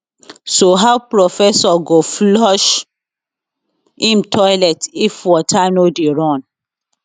so how professor go flush im toilet if water no dey run